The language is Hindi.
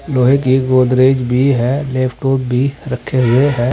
लोहे की एक गोदरेज भी है लैपटॉप भी रखे हुए हैं।